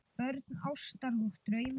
Börn ástar og drauma